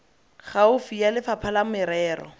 gaufi ya lefapha la merero